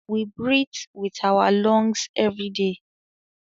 We breathe with our lungs everyday